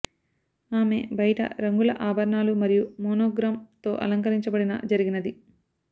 ఆమె బయట రంగుల ఆభరణాలు మరియు మోనోగ్రామ్ తో అలంకరించబడిన జరిగినది